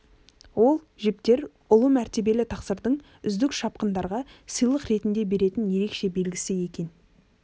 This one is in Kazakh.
ол жіптер ұлы мәртебелі тақсырдың үздік шапқындарға сыйлық ретінде беретін ерекше белгісі екен